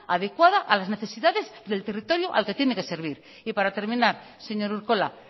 adecuada a las necesidades del territorio al que tiene que servir y para terminar señor urkola